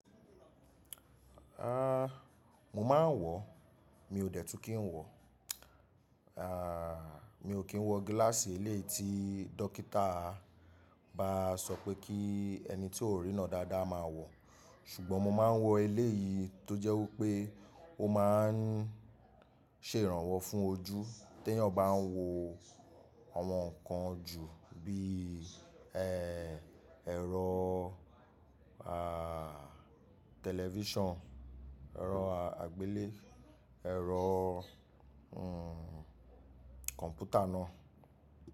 Ah, mo máa ń wọ̀, mi ò dẹ́tu kí n wọ̀. Ah, mi ò kí ń wọ gíláàsì elé ti dọ́kítà bá sọ pé kí ẹni tí ó rí náà dáadáa máa wọ̀. Ṣùgbọ́n mo máa ń wọ eléyìí tó jẹ́ wípé ó máa ń ṣe ìrànwọ́ fún ojú tí ẹyan bá ń wo àwọn nǹkan ju bí, ẹ́ẹ́, ẹ̀rọ, tẹlifíṣàn, ẹ̀rọ àgbélé, ẹ̀rọ, kọ̀m̀pútà náà.